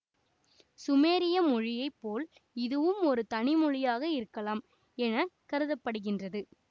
சுமேரிய மொழியை போல் இதுவும் ஒரு தனி மொழியாக இருக்கலாம் என கருத படுகின்றது